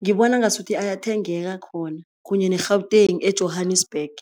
ngibona ngasuthi ayathengeka khona, kunye ne-Gauteng e-Johannesburg.